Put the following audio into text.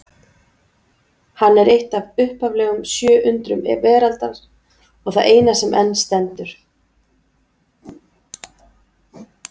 Hann er eitt af upphaflegum sjö undrum veraldar og það eina sem enn stendur.